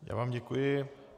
Já vám děkuji.